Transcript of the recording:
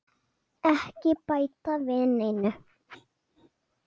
Ekki bæta við neinu.